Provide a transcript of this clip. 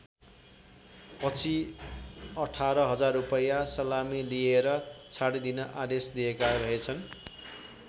पछि १८ हजार रूपैयाँ सलामी लिएर छाडिदिन आदेश दिएका रहेछन्।